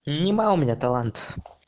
нет у меня таланта